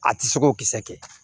A tɛ se ko kisɛ kɛ